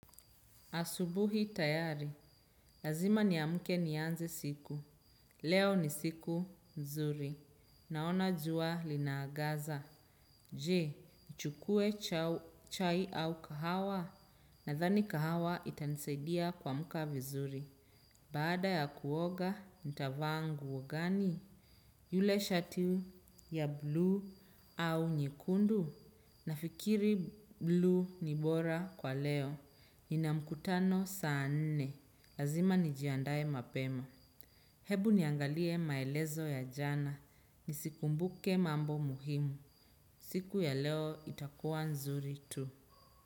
Asubuhi tayari. Lazima niamuke nianze siku. Leo ni siku mzuri. Naona jua linaagaza. Je, nchukue chai au kahawa. Nadhani kahawa itanisaidia kuamka vizuri. Baada ya kuoga, ntavaa nguo gani? Yule shati ya blue au nyekundu? Na fikiri blue ni bora kwa leo, nina mkutano saa nne, lazima nijiandaye mapema. Hebu niangalie maelezo ya jana nizikumbuke mambo muhimu. Siku ya leo itakuwa nzuri tu.